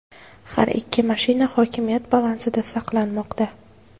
Har ikki mashina hokimiyat balansida saqlanmoqda.